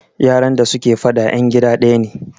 yaran da suke fada yan gida daya ne